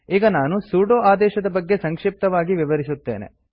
ಈಗ ನಾನು ಸುಡೊ ಆದೇಶದ ಬಗ್ಗೆ ಸಂಕ್ಷಿಪ್ತವಾಗಿ ವಿವರಿಸುತ್ತೇನೆ